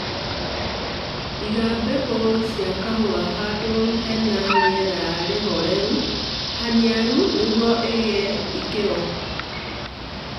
Iga mbegũ cia kahũa handũ hena rĩera rĩholelu, haniaru nĩguo ĩige ikĩro